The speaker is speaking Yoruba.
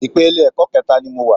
Ìpele ẹ̀kọ́ kẹẹ̀ta ni mo wà.